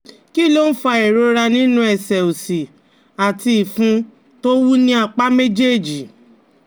Kí ló ń fa ìrora nínú ẹsẹ̀ òsì àti ìfun tó wú ní apá méjèèjì?